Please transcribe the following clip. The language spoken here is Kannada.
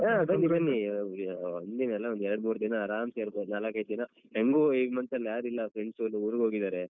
ಆ ಬನ್ನಿ ಒಂದಿನ ಅಲ್ಲ ಒಂದೆರಡ್ಮೂರ್ ದಿನ ಆರಾಮ್ಸೇ ಇರ್ಬೋದು ನಾಲಕೈದ್ ದಿನ. ಹೆಂಗು ಈ month ಅಲ್ ಯಾರು ಇಲ್ಲ friends ಎಲ್ಲಾ ಊರಿಗ್ಹೋಗಿದಾರೆ.